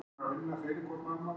Kom hann í flugvél?